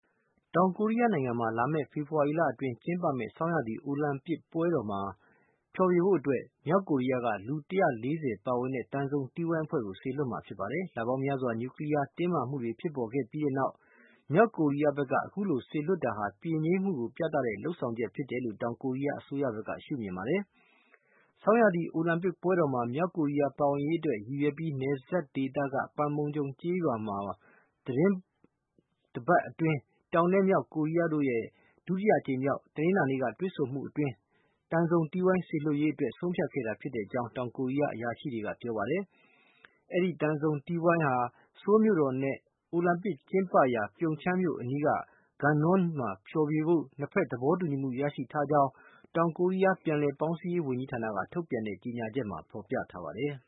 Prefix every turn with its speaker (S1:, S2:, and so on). S1: တောင်ကိုရီးယားနိုင်ငံမှာ လာမယ့် ဖေဖော်ဝါရီလအတွင်း ကျင်းပမယ့် ဆောင်းရာသီ အိုလံပစ်ပွဲတော်မှာ ဖျော်ဖြေဖို့အတွက် မြောက်ကိုရီးယားက လူ ၁၄၀ ပါဝင်တဲ့ သံစုံတီးဝိုင်းအဖွဲ့ကို စေလွတ်မှာ ဖြစ်ပါတယ်။ လပေါင်းများစွာ နျူကလီးယား တင်းမာမှုတွေ ဖြစ်ပေါ်ခဲ့ပြီးတဲ့နောက် မြောက်ကိုရီးယားဘက်က အခုလို စေလွတ်တာဟာ ပြေငြိမ်းကိုပြသတဲ့ လုပ်ဆောင်မှုအဖြစ် တောင်ကိုရီးယား အစိုးရဘက်က ရှုမြင်ပါတယ်။ ဆောင်းရာသီ အိုလံပစ်ပွဲတော်မှာ မြောက်ကိုရီးယား ပါဝင်ရေးအတွက် ရည်ရွယ်ပြီး နယ်စပ်ဒေသက Panmunjom ရွာမှာ သီတင်းတပတ် အတွင်း တောင်နဲ့ မြောက်ကိုရီးယားတို့ရဲ့ ဒုတိယအကြိမ်မြောက် တနင်္လာနေ့က တွေ့ဆုံမှုအတွင်း သံစုံတီးဝိုင်း စေလွတ်ရေးအတွက် ဆုံးဖြတ်ခဲ့တာဖြစ်ကြောင်း တောင်ကိုရီးယား အရာရှိတွေက ပြောပါတယ်။ အဲဒီ သံစုံတီးဝိုင်းအဖွဲ့ဟာ ဆိုးလ်မြို့တော်နဲ့ အိုလံပစ်ကျင်းပရာ Pyeonchang မြို့အနီးက Gangneung တို့မှာ ဖျော်ဖြေဖို့ နှစ်ဘက် သဘောတူညီမှု ရရှိထားကြောင်း တောင်ကိုရီးယား ပြန်လည်ပေါင်းစည်းရေးဝန်ကြီးဌာနက ထုတ်ပြန်တဲ့ ကြေညာချက်မှာ ဖော်ပြထားပါတယ်။